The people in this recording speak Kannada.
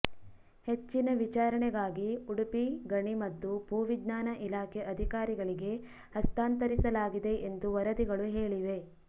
ಹೆಚ್ಚಿನ ವಿಚಾರಣೆಗಾಗಿ ಉಡುಪಿ ಗಣಿ ಮತ್ತು ಭೂ ವಿಜ್ಞಾನ ಇಲಾಖೆ ಅಧಿಕಾರಿಗಳಿಗೆ ಹಸ್ತಾಂತರಿಸಲಾಗಿದೆ ಎಂದು ವರದಿಗಳು ಹೇಳಿವೆ